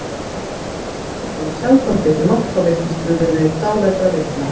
af þessum sökum er nú sjaldan tekið mark á vitnisburði dáleiddra vitna